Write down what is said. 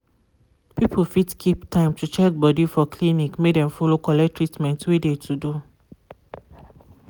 people fit keep time to check body for clinic make dem follow collect treatment wey de to do.